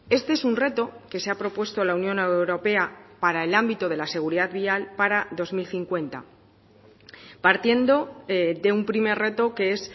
este es un reto que se ha propuesto la unión europea para el ámbito de la seguridad vial para dos mil cincuenta partiendo de un primer reto que es